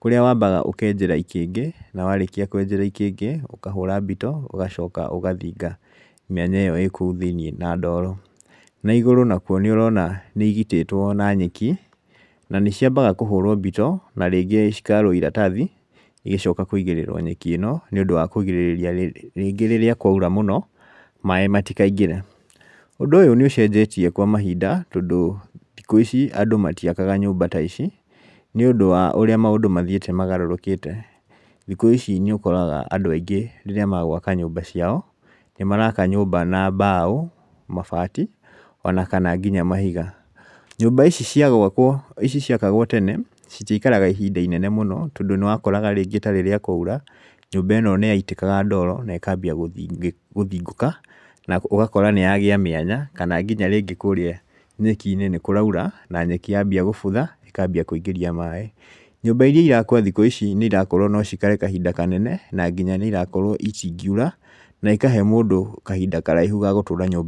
kũrĩa wambaga ũkenjera ikĩngĩ, na warĩkia kwenjera ikĩngĩ ũkahũra mbito ũgacoka ũgathinga mĩanya ĩkũu thĩiniĩ na ndoro. Na igũrũ nakuo nĩũrona nĩigitĩwo na nyeki, na nĩciambaga kũhũrwo mbito na rĩngĩ cikarwo iratathi igĩcoka kwĩigĩrĩrwo nyeki ĩno nĩũndũ wa kũgirĩrĩria rĩngĩ rĩrĩa kwaura mũno maĩ matikaingĩre. Ũndũ ũyũ nĩũcenjetie kwa mainda tondũ thikũ ici andũ matiakaga nyũmba ta ici, nĩũndũ wa ũrĩa maũndũ mathiĩte magarũrũkĩte. Thikũ ici nĩũkoraga andũ aigĩ rĩrĩa magwaka nyũmba ciao, nĩmaraka nyũmba na mbao mabati ona kana nginya mahiga. Nyũmba ici cia gwakwo ici ciakagwo tene, citiaikaraga ihinda inene mũno, tondũ nĩwakoraga rĩngĩ ta rĩrĩa kwaura, nyũmba ĩno nĩyaitĩkaga ndoro na ĩkambia gũthingũka na ũgakora nĩyagĩa mĩanya kana rĩngĩ kinya kũrĩa nyeki-inĩ nĩkũraura, na nyeki yambia gũbutha ĩkambia kũingĩria maĩ. Nyũmba iria irakwo thikũ ici nĩirakorwo no cikare kainda kanene na nginya nĩirakorwo itingiura na ikahe mũndũ kahinda karaihu ga gũtũũra nyũmba